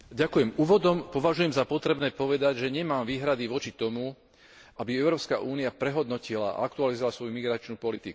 Úvodom považujem za potrebné povedať, že nemám výhrady voči tomu, aby Európska únia prehodnotila a aktualizovala svoju migračnú politiku.